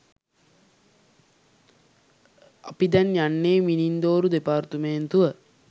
අපි දැන් යන්නේ මිනින්දෝරු දෙපාර්තුමේන්තුව